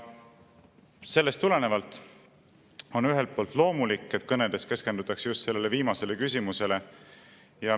Ja sellest tulenevalt on ühelt poolt loomulik, et kõnedes keskendutakse just sellele viimasele küsimusele.